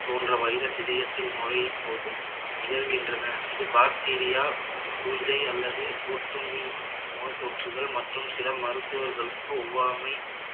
போன்ற virus இதயத்தில் நுழையும் போது நிகழ்கின்றன இது bacteria பூஞ்சை அல்லது ஒட்டுண்ணி நோய் தொற்றுகள் மற்றும் சில மருத்துவர்களுக்கு ஒவ்வாமை